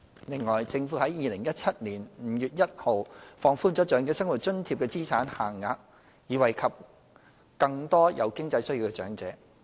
另外，政府在2017年5月1日放寬了"長者生活津貼"的資產限額，以惠及更多有經濟需要的長者。